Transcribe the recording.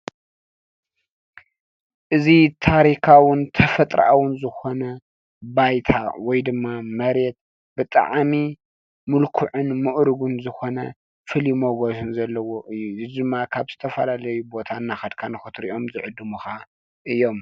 እዚ ታሪካውን ተፈጥራውን ዝኮነ ባይታ ወይድማ መሬት ብጣዕሚ ምልኩዕን ምዕሩግን ዝኮነ ፍሉይ ሞገስን ዘለዎ እዩ። እዚ ደማ ካብ ዝተፈላለዩ ቦታ እናከድካ ንክትርእዮ ዝዕድሙካ እዩም።